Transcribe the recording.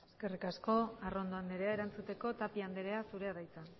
eskerrik asko arrondo andrea erantzuteko tapia andrea zurea da hitza